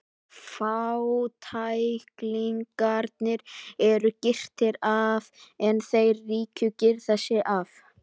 Fátæklingarnir eru girtir af en þeir ríku girða sig af.